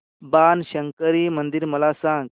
बाणशंकरी मंदिर मला सांग